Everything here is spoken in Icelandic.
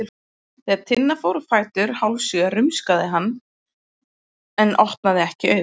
Þegar Tinna fór á fætur hálfsjö rumskaði hann en opnaði ekki augun.